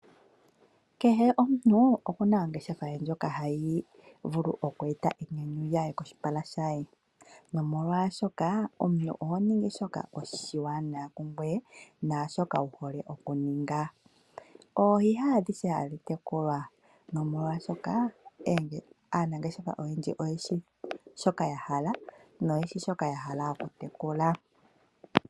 Kehe omuntu okuna ongeshefa ye ndjoka hayi vulu oku eta iinyanyu koshipala shaye nomolwashoka omuntu oho ningi shoka oshiwanawa kungoye naashoka wu hole oku ninga. Oohi ha adhihe hadhi tekulwa nomolwashoka aanangeshefa oyendji oyeshi shoka ya hala noyeshi shoka ya hala oku tekula.